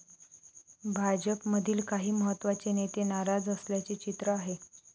भाजपमधील काही महत्त्वाचे नेते नाराज असल्याचे चित्र आहे.